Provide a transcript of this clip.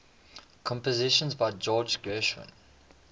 compositions by george gershwin